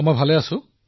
মই ভালে আছো